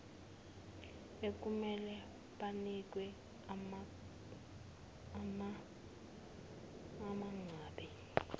ekumele banikwe umangabe